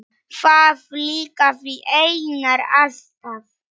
Það líkaði Einari alltaf.